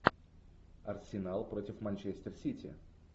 арсенал против манчестер сити